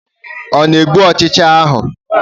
Ọ na-egbu ọchịcha ahụ?